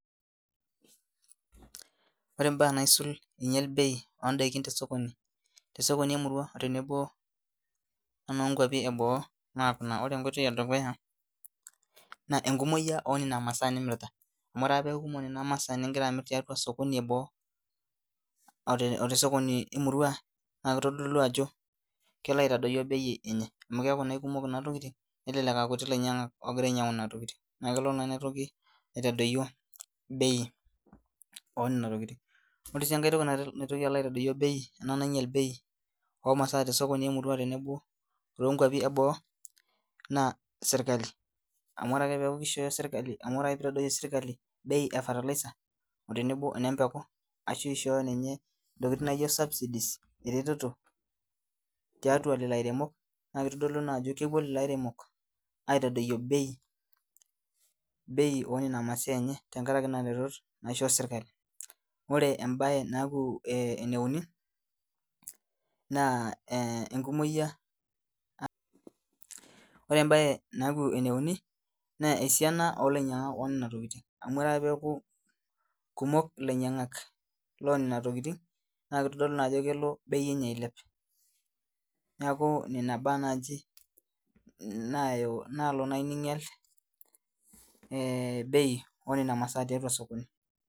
Ore mbaa naisul enyiala bei tee sekondari emurua tenebo onoo nkwapii eboo naa Kuna ore enkoitoi edukuya naa enkumoki enono masaa nimirita amu ore ake pee eku kumok enana masaa nimirita tee sokoni eboo ote sokoni emurua naa kitodolu Ajo kelo aitodoyio bei enye amu kelelek aa kumok Kuna tokitin naa kutik elainyiangak ogira ainyiang'u Nena tokitin naa kelo naa enotoki aitadoyio bei oo Nena tokitin ore sii enkae toki nalotu aitadoyio bei oo maasai tee sokoni emurua tenebo oo noo nkwapii eboo naa sirkali amu ore ake pee eitadoyio sirkali bei efiertilizer oo tenebo enembeki ashu eishooyi ninye ntokitin naijio eretoto tiatua Leo airemok naa kitodolu naa Ajo kepuo lelo airemok aitadoyio bei oo Nena masaa enye tenkaraki Nena retoto naisho sirkali ore mbae naaku ene uni naa enkumoki oo lainyiangak lenana tokitin amu ore ake pee eku kumok elainyiangak loo Nena tokitin naa kitodolu naa Ajo kelo bei enye ailep neeku Nena mbaa naaji nalo ninyial bei oo Nena masaa tiatua sokoni